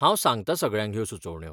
हांव सांगतां सगळ्यांक ह्यो सुचोवण्यो.